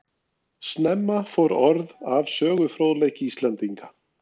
Snemma fór orð af sögufróðleik Íslendinga.